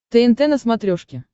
тнт на смотрешке